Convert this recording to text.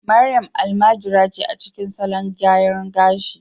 Mariam almajiri ce a cikin salon gyaran gashi